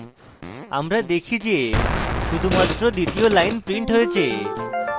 আমরা দেখি যে শুধুমাত্র দ্বিতীয় line printed হয়েছে